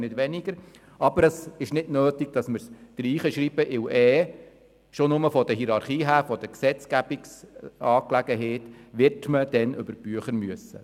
Es ist allerdings nicht nötig, dass wir diesen Artikel ins Gesetz schreiben, weil man schon nur aufgrund der Hierarchie der Gesetzgebung über die Bücher gehen müsste.